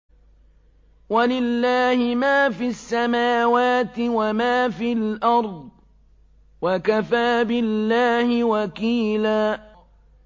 وَلِلَّهِ مَا فِي السَّمَاوَاتِ وَمَا فِي الْأَرْضِ ۚ وَكَفَىٰ بِاللَّهِ وَكِيلًا